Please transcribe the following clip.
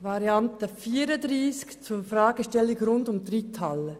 Variante 34 zu Fragestellungen rund um die Reithalle.